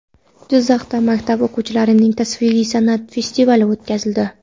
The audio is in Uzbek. Jizzaxda maktab o‘quvchilarining tasviriy san’at festivali o‘tkazildi.